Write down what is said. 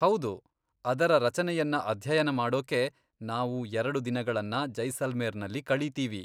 ಹೌದು! ಅದರ ರಚನೆಯನ್ನ ಅಧ್ಯಯನ ಮಾಡೋಕೆ ನಾವು ಎರಡು ದಿನಗಳನ್ನ ಜೈಸಲ್ಮೇರ್ನಲ್ಲಿ ಕಳೀತೀವಿ.